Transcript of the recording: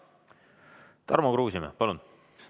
Tarmo Kruusimäe, palun!